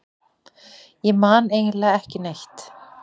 Ég man eiginlega ekki neitt.